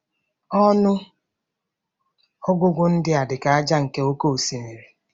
Ọnụ ọgụgụ ndị a dị ka ájá nke oké osimiri.